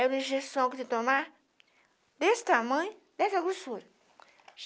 Era uma injeção que tinha que tomar desse tamanho, dessa grossura.